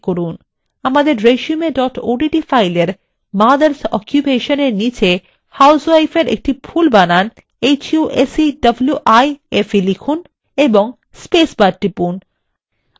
আমাদের resume odt file mother s occupation এর নিচে আপনি housewife এর একটি ভুল বানান husewife লিখুন এবং space bar টিপুন